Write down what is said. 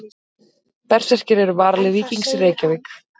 Berserkir eru varalið Víkings í Reykjavík.